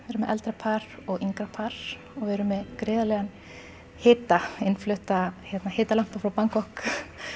erum með eldra par og yngra par og við erum með gríðarlegan hita innflutta frá Bangkok